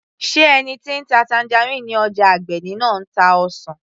sé ẹni tí ń ta tangerine ní ọjà Agbeni náà ń ta ọsàn